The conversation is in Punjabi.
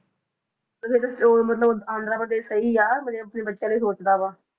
ਤਾਂ ਫਿਰ ਉਹ ਮਤਲਬ ਆਂਧਰਾ ਪ੍ਰਦੇਸ਼ ਸਹੀ ਆ ਮਤਲਬ ਆਪਣੇ ਬੱਚਿਆਂ ਲਈ ਸੋਚਦਾ ਵਾ।